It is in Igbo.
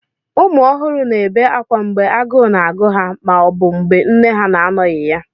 ụmụ ọhụrụ na-ebe akwa mgbe agụụ na-agụ ha ma ọ bụ mgbe nne ha na-anọghị ya